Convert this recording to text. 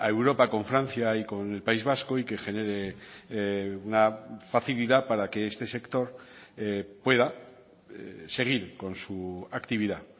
europa con francia y con el país vasco y que genere una facilidad para que este sector pueda seguir con su actividad